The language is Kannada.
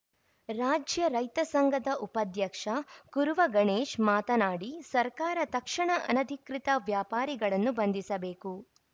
ರಾಜ್ಯ ರೈತ ಸಂಘದ ಉಪಾಧ್ಯಕ್ಷ ಕುರುವ ಗಣೇಶ್‌ ಮಾತನಾಡಿ ಸರ್ಕಾರ ತಕ್ಷಣ ಅನಧಿಕೃತ ವ್ಯಾಪಾರಿಗಳನ್ನು ಬಂಧಿಸಬೇಕು